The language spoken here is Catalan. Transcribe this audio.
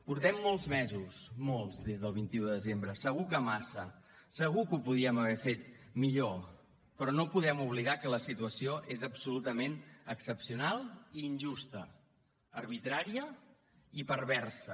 portem molts mesos molts des del vint un de desembre segur que massa segur que ho podíem haver fet millor però no podem oblidar que la situació és absolutament excepcional i injusta arbitrària i perversa